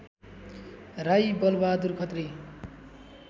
Rai Balbahadur Khatri